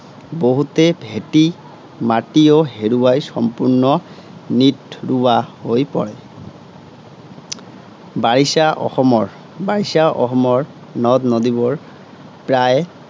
বহুতে ভেটি মাটিও হেৰুৱাই সম্পূৰ্ণ নিঠ ৰুৱা হৈ পৰে। বাৰিষা অসমৰ, বাৰিষা অসমৰ নদনদী বােৰ প্ৰায়